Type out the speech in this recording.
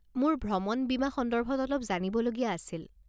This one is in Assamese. মোৰ ভ্ৰমণ বীমা সন্দৰ্ভত অলপ জানিবলগীয়া আছিল।